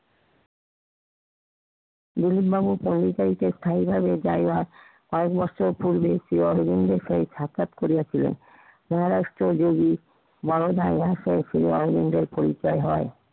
দিলীপ বাবু পন্ডিচারীতে স্থায়ীভাবে জায়গা পাওয়া মাত্র ফোন দিয়েছিলো অরবিন্দের সঙ্গে সাক্ষাৎ করিয়াছিলেন।